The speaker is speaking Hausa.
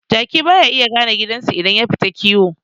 Jaki baya iya gane gidansu idan yafita kiwo